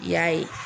I y'a ye